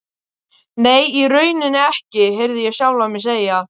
Nei, í rauninni ekki, heyrði ég sjálfan mig segja.